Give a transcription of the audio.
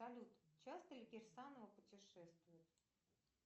салют часто ли кирсанова путешествует